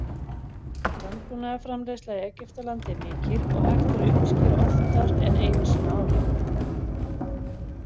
Landbúnaðarframleiðsla í Egyptalandi er mikil og hægt er að uppskera oftar en einu sinni ári.